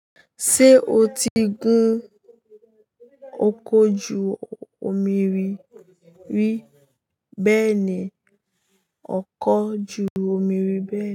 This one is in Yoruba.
Ṣé o ti gun ọkọ̀ ju omi rí rí bẹ́ẹ̀ni, ọkọ̀ ju omi rí bẹ́ẹ̀ni.